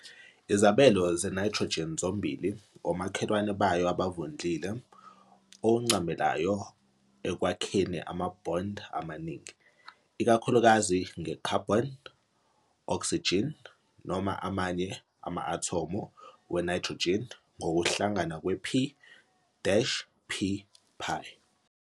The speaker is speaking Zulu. Izabelo zeNitrogen zombili omakhelwane bayo abavundlile okuncamelayo ekwakheni ama-bond amaningi, ikakhulukazi nge-carbon, oxygen, noma amanye ama-athomu we-nitrogen, ngokuhlangana kwep-pπ.